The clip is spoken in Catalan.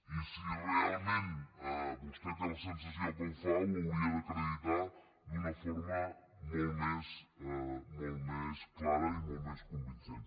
i si realment vostè té la sensació que ho fa ho hauria d’acreditar d’una forma molt més clara i molt més convincent